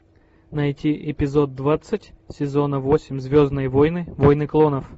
найти эпизод двадцать сезона восемь звездные войны войны клонов